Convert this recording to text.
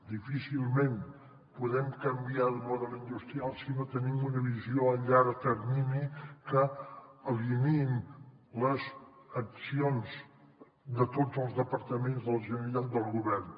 difícilment podem canviar de model industrial si no tenim una visió a llarg termini que alineï les accions de tots els departaments de la generalitat del govern